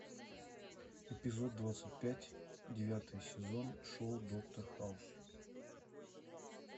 эпизод двадцать пять девятый сезон шоу доктор хаус